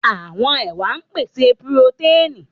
Àwọn ẹwà ń pèsè purotẹ́ẹ̀nì.